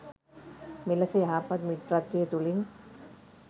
මෙලෙස යහපත් මිත්‍රත්වය තුළින්